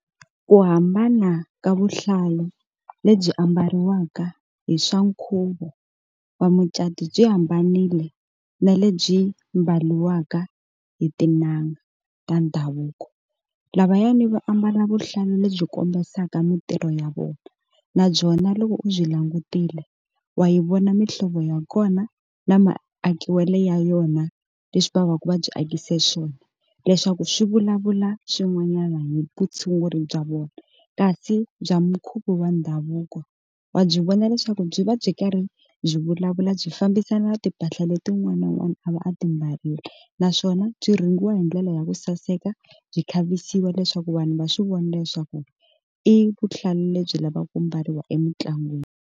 Ku hambana ka vuhlalu lebyi ambariwaka hi swa nkhuvo wa mucatu byi hambanile na lebyi mbariwaka hi tin'anga ta ndhavuko lavayani va ambala vuhlalu lebyi kombisaka mintirho ya vona na byona loko u byi langutile wa hi vona mihlovo ya kona na maakiwelo ya yona leswi va va ku va byi akise swona leswaku swi vulavula swin'wanyana hi vutshunguri bya vona, kasi bya mukhuva wa ndhavuko wa byi vona leswaku byi va byi karhi byi vulavula byi fambisana timpahla ta leti un'wana na un'wana a va a ti mbarile naswona byi rhungiwa hi ndlela ya ku saseka byi khavisiwa leswaku vanhu va swi vona leswaku i vuhlalu lebyi lavaka ku mbariwa emitlangwini.